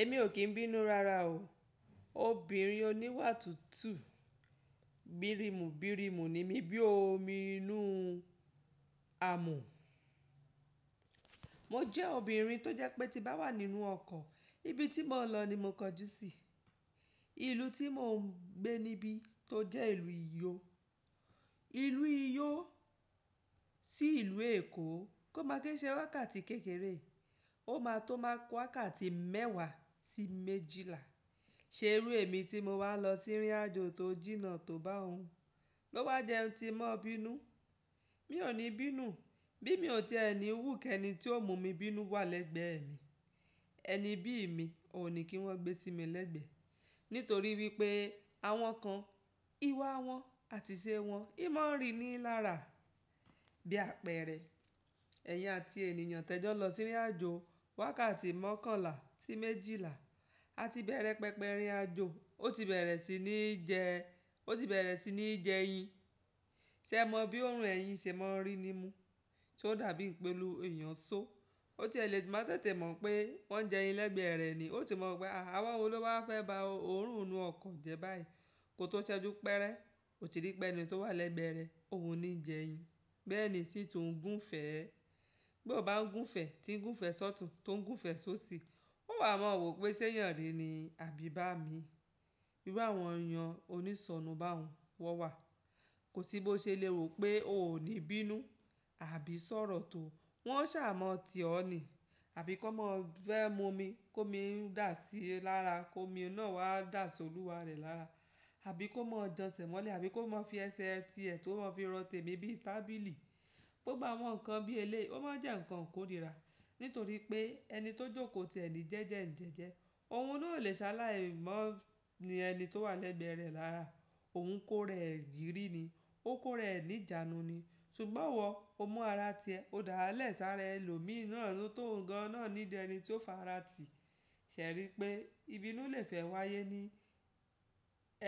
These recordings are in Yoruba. Èmi ò kín bínú rara o. Obìnrin oníwà tútù, bìrìmù bìrìmù ni mí bí omi inú amù. Mo jẹ́ obìnrin tó jẹ́ pé tí bá wà nínú ọkọ̀, ibi tí mò ń lọ ni mo kọjú sí. Ìlú tí mò ń gbé níbí tó jẹ́ ìlú ìlú uyó. Ìlú uyó sí ìlú Èkó kó máa kín imse wákàtí kékeré. Ó máa tó máa wákàtí mẹ́wàá sí méjìlá. Ṣe irú èmi tí mo wá lọ sí ìrìn àjò tó jìnnà tó bá òun, ló wá yẹ ki òun tún má bínú? Mi ò ní bínú, bí mi ò ti ẹ̀ níwù kẹni tí ó mú mi bínú wà lẹ́gbẹ̀ẹ́ mi. Ẹni bí mi ò ní kí wọ́n gbé sí mi lẹ́gbẹ̀ẹ́, nítorí wípé àwọn kan, ìwà wọn àti ìṣe wọn òun má ń rin ní lára bí apẹ̀rẹ̀. Ẹ̀yin àti ènìyàn tẹ́jọ́ lọ sírí àjò wákàtí mọ́kànlá sí méjìlá, a ti bẹ̀rẹ̀ pẹ̀pẹ̀ ìrìn àjò ní, ó ti bẹ̀rẹ̀ sí ní jẹ yin. Ṣé ẹ mọ bí òórùn ẹ̀yin ṣe máa ń rin nímu, tí ó dàbí epe èèyàn so. Ó ti lè má tètè mọ̀ pé wọ́n jẹ ẹyin lẹ́gbẹ̀ẹ́ rẹ̀ ni. Ó ti ma wo pé, àwon wo ló wá fẹ́ ba òórùn inú ọkọ̀ jẹ báyìí. Kò tó ṣẹ́jú pẹ́rẹ́, o ti rí pé ẹni tí ó wà lẹ́gbẹ̀ẹ́ rẹ̀ òhun ni ń jẹ yin. Bẹ́ẹ̀ ni nsí tún òún gúnfẹ̀, bí ó bá ń gúnfẹ̀, tí ń gúnfẹ̀ sọ́tùn, tó ń gúnfẹ̀ sóṣìí, ó wà máa wò pé ṣé èèyàn ni àbí bá mi. Irú àwọn èèyàn onísọnù bá òhun, wọ́n wà. Kò sí bó ṣe lè wo pé ò ní bínú àbí ṣọ̀rọ̀ tó. Wọn ó ṣà mọ́ ọ tì ọ́ ní àbí kó máa fẹ́ mu omi, kí omi na dà sí ọ lára, kó omi náà wá dà sí olúwa rẹ̀ lára, àbí kó máa jan ẹsẹ̀ mọ́lẹ̀, àbí kó máa fi ẹsẹ̀ tí ẹ kó máa ń fi rọ tèmi bí i tábìlì. Gbogbo àwọn nǹkan bí elé, o máa jẹ́ ǹkan ìkó rira nítorí pé ẹni tó jókòó ti ẹni jẹ́jẹ́ ń jẹ́jẹ́. Ohun náà o le sáláẹ̀ mọ́ ní ẹni tí ó wà lẹ́gbẹ̀ẹ́ rẹ̀ lára. Òhun kó rẹ̀ ìrírí ni, ó kó rẹ̀ ní ìjánu ni. Sugbọ́n wọ, o mú ara tiẹ, o dá lẹ sáré ẹlòmíì náà tó ń gan náà nídi ẹni tí yó fara tì Ṣẹ̀ rí i pé ìbínú lè fẹ́ wáyé ní,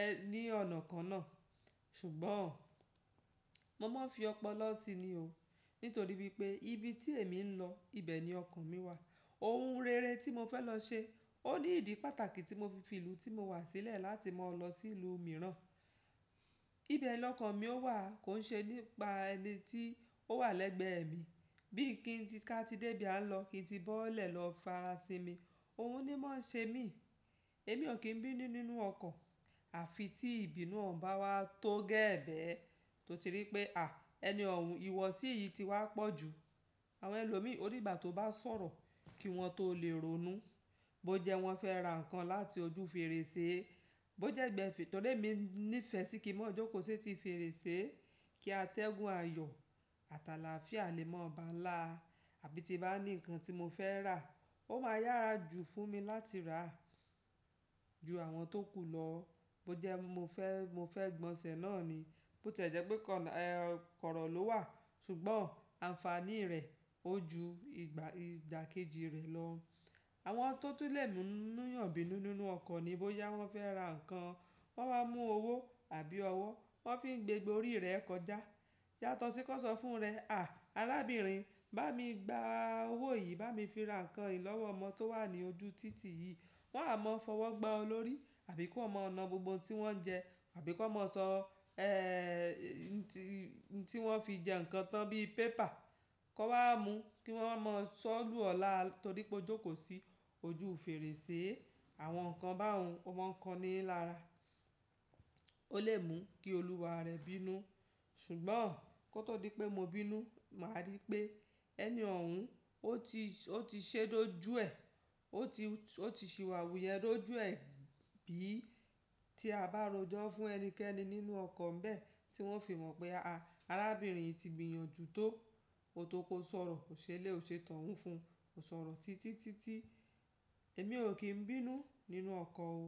ẹ ní ọ̀nà kan náà. Ṣùgbọ́n mo máa ń fi ọpọlọ sí i ni o, nítorí wípé ibi tí èmi ń lọ, ibẹ̀ ni ọkọ̀ mi wà. Ohun rere tí mo fẹ́ lọ ṣe, ó ní ìdí pàtàkì tí mo fi ìlú tí mo wà sílẹ̀ láti máa lọ sí ìlú mìíràn. Ibẹ̀ lọkàn mi ó wà kò ń ṣe nípa ẹni tí ó wà lẹ́gbẹ̀ẹ́ mi. Bí i kí n ti ká ti dé ibí à nlọ kí n ti bọ́lẹ̀ lọ fa ara si mi, òhun ni máa ń ṣe mí. Èmi ò kín bínú nínú ọkọ̀, àfi tí ìbínú òun bá wá tó gẹ́ẹ́bẹ́ ẹ, tó ti rí i pé à, ẹni òhun ìwọ̀sí yìí ti wá pọ̀ ju. Àwọn ẹlòmíì ó di ìgbà tó bá ń sọ̀rọ̀ kí wọ́n tó lè ronú. Bó jẹ wọ́n fẹ́ ra ǹkan láti ojú fèrèsé, bó jẹ́ gbẹ́gbe tó dé mi ní ìfẹ́ sí kí wọ́n jókòó sí ti fèrèsé, kí a tẹ́gùn ayọ̀, àtàlà fià le mọ́ ba ń là, àbí tí bá ní ǹkan tí mo fẹ́ rà, ó máa yára jù fún mi láti rà á ju àwọn tó kù lọ. Bó jẹ́ mo fẹ́, mo fẹ́ gbọ̀nṣẹ̀ náà ni, bó ti ẹ̀ jẹ́ pé kọ̀rọ̀ ló wà, ṣùgbọ́n àǹfàní rẹ̀ ó ju ìgbà ìdá kejì rẹ̀ lọ. Àwọn tó tún lè mú èyán bínú nínú ọkọ̀ ni bó yá wọ́n fẹ́ ra ǹkan, wọ́n máa mú owó àbí ọwọ́, wọ́n fi ń gbé gborí rẹ̀ kọjá. Yátọ̀ sí kó sọ fún rẹ, à, arábìnrin bá mi gba owó yìí, bá mi fi ra ǹkan yìí lọ́wọ́ ọmọ tó wà ní ojú títì yìí. Wọn a máa fọwọ́ gba ọ lórí àbí kó máa ọ̀nà gbogbo ohun tí wọ́n ń jẹ àbí kó máa sọ, ẹ́, tí wọ́n fi jẹ ǹkan tán bí i pépà, kó wá mú kí wọ́n máa sọ ọ́ lù ọ́ lá, torí pé ó jókòó sí ojú fèrèsé. Àwọn ǹkan bá òhun, wọ́n ma ń kan ni lára. O lè mú kí olúwa rẹ̀ bínú. Ṣùgbọ́n kó tó di pé mo bínú, màá rí i pé ẹni òhun ó ti, ó ti ṣé dójú ẹ̀, ó ti, ó ti ṣìwàwù yẹn dójú ẹ̀ bí i tí a bá rojọ́ fún ẹnikẹ́ni nínú ọkọ̀ ńbẹ́ tí wọ́n fi mọ̀ pé, a, arábìnrin yìí ti gbìyànjú tó. Ó tó kó sọ̀rọ̀, kò ṣe lé ò ṣe tọ̀ún fún un, kò sọ̀rọ̀ títí, títí. Èmi ò kín bínú nínú ọkọ̀ o.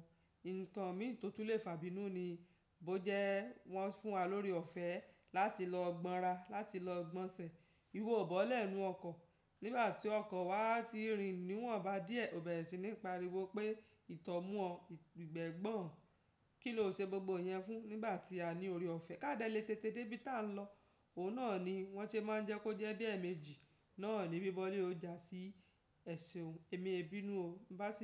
Ǹkan mi tó tún lè fà bínú ni bó jẹ́ wọ́n fún wa lóre ọ̀fẹ́ láti lọ gbonra, láti lọ gbonsẹ̀. Iwò ò bọ́lẹ̀ nínú ọkọ̀. Nígbà tí ọkọ̀ wa ti rì nìwọ̀n bá díẹ̀, o bẹ̀rẹ̀ sí ní pariwo pé, ìtọ́ mú ọ, ìgbẹ́ gbọ̀n, kí ló ṣe gbogbo ìyẹn fún nígbà tí a ní ore ọ̀fẹ́ ká dẹ̀ le tètè dé ibi tí à ń lọ. Òun náà ni wọ́n ṣe máa ń jẹ́ kó jẹ́ bí ẹ̀ẹ̀mejì náà ní bí bọ́lẹ̀ ó ja sí ẹ̀sùn. Èmi e bínú o nígbà tí.